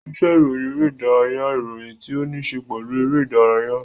Iṣe iroyin ere-idaraya n iroyin ti o ni ṣe pelu ere-idaraya.